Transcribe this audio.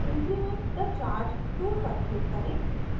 increment the charge tool पर click करें